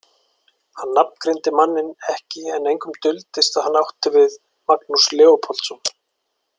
Hann nafngreindi manninn ekki en engum duldist að hann átti við Magnús Leópoldsson.